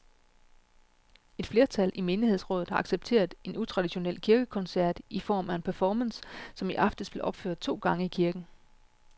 Et flertal i menighedsrådet har accepteret en utraditionel kirkekoncert i form af en performance, som i aftes blev opført to gange i kirken.